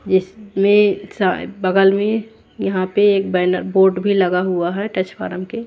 इसमें सा बगल में यहां पे एक बैनर बोर्ड भी लगा हुआ है टच फॉर्म के--